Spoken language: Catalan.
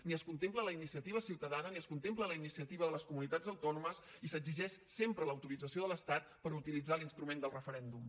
ni es contempla la iniciativa ciutadana ni es contempla la iniciativa de les comunitats autònomes i s’exigeix sempre l’autorització de l’estat per utilitzar l’instrument del referèndum